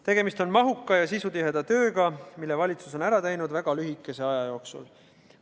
Tegemist on mahuka ja sisutiheda tööga, mille valitsus on ära teinud väga lühikese aja jooksul.